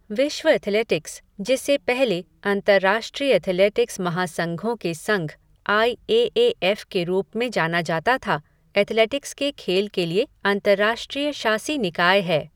विश्व एथलेटिक्स, जिसे पहले अंतर्राष्ट्रीय एथलेटिक्स महासंघों के संघ, आई ए ए एफ़ के रूप में जाना जाता था, एथलेटिक्स के खेल के लिए अंतर्राष्ट्रीय शासी निकाय है।